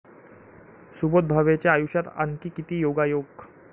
सुबोध भावेच्या आयुष्यात आणखी किती योगायोग?